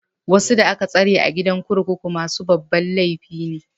Wasu da aka tsare a gidan kurkuku masu babban laifi ne.